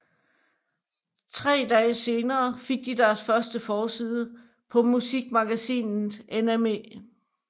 Tre dage senere fik de deres første forside på musikmagasinet NME